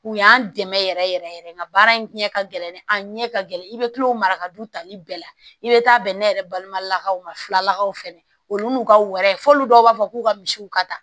U y'an dɛmɛ yɛrɛ yɛrɛ yɛrɛ nka baara in ɲɛ ka gɛlɛn an ɲɛ ka gɛlɛn i bɛ kilo mara ka du tali bɛɛ la i bɛ taa bɛn ne yɛrɛ balimakaw ma filakaw fɛnɛ olu n'u ka wɔrɛ fɔ olu dɔw b'a fɔ k'u ka misiw ka da